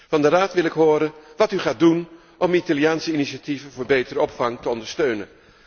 Van de Raad wil ik horen wat u gaat doen om Italiaanse initiatieven voor betere opvang te ondersteunen.